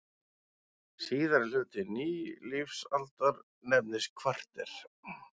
Síðari hluti nýlífsaldar nefnist kvarter.